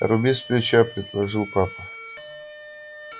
руби сплеча предложил папа